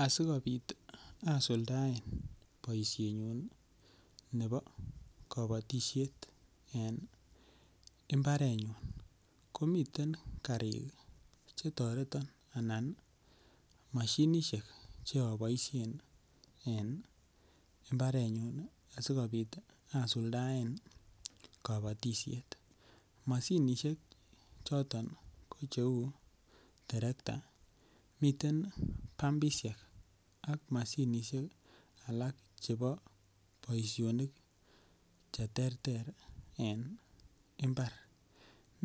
Asi kobit asuldaen boisiet nebo kabatisiet en mbarenyun komiten karik Che toreton anan mashinisiek Che aboisien en mbarenyun asi kobit asuldaen kabatisiet mashinisiek choton ko cheu terekta miten pumpisiek ak mashinisiek alak chebo boisionik Che terter en mbar